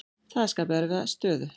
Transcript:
Það skapi erfiða stöðu.